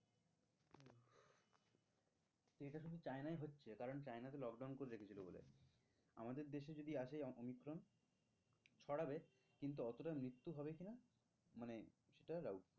চায়নায় হচ্ছে কারণ চায়নাতে lockdown করে রেখেছিলো বলে আমাদের দেশে যদি আসে অমিক্রন ছড়াবে কিন্তু অতটা মৃত্যু হবে কি না মানে সেটা doubt